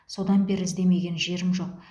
содан бері іздемеген жерім жоқ